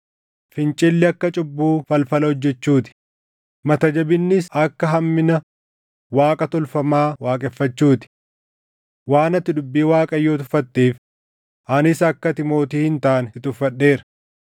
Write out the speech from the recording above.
Fincilli akka cubbuu falfala hojjechuu ti; mata jabinnis akka hammina Waaqa tolfamaa waaqeffachuu ti. Waan ati dubbii Waaqayyoo tuffatteef, anis akka ati mootii hin taane si tuffadheera.”